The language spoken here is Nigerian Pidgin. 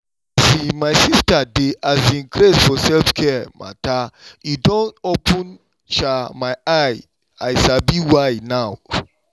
um my sista dey um craze for self-care matter e don open um my eye i sabi why now.